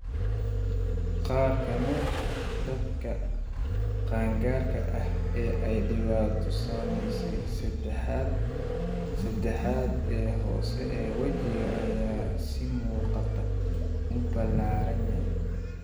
Qaar ka mid ah dadka qaangaarka ah ee ay dhibaatadu saameysey, saddexaad ee hoose ee wejiga ayaa si muuqata u ballaaranaya.